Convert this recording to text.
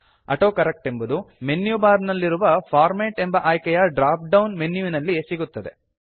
autocorrect ಎಂಬುದು menu bar ನಲ್ಲಿರುವ format ಎಂಬ ಆಯ್ಕೆಯ ಡ್ರಾಪ್ ಡೌನ್ ಮೆನ್ಯುವಿನಲ್ಲಿ ಸಿಗುತ್ತದೆ